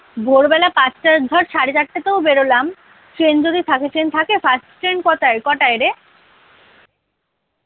ভোর বেলা পাঁচটা ধর সাড়ে চারটাতেও বের হলাম train যদি থাকে train থাকে first train কটায় কটায় রে?